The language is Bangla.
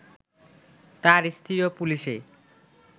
তার স্ত্রীও পুলিশে